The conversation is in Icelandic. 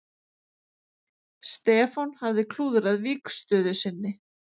Stefán hafði klúðrað vígstöðu sinni.